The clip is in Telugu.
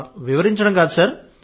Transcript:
వివరించడం కాదు సార్